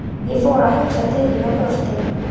Ég fór að hugsa til þín og brosti.